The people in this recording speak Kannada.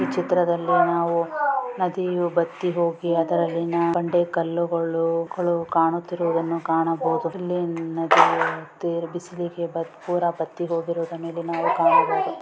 ಚಿತ್ರದಲ್ಲಿ ನಾವು ನದಿಯು ಬತ್ತಿ ಹೋಗಿ ಅದರಲ್ಲಿ ಬಂಡೆ ಕಲ್ಲುಗಳು ಕಾಣುತ್ತಿರುವುದನ್ನು ಕಾಣಬಹುದು ಇಲ್ಲಿ ನದಿಗಳು ಬಿಸಿಲಿಗೆ ಪುರ ಬತ್ತಿ ಹೋಗಿರುವುದ ಮೇಲೆ ನಾವು ಕಾಣಬಹುದು.